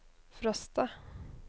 Frosta